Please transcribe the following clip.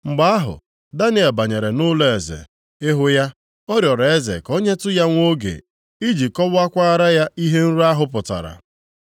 Mgbe ahụ, Daniel banyere nʼụlọeze, ịhụ ya. Ọ rịọrọ eze ka o nyetụ ya nwa oge iji kọwaakwara ya ihe nrọ ahụ pụtara.